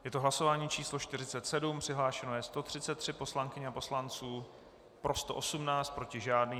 Je to hlasování číslo 47, přihlášeno je 133 poslankyň a poslanců, pro 118, proti žádný.